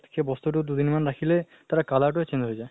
সেই বস্তুটো দুদিন মান ৰাখিলে তাৰ color টোয়ে change হৈ যায়।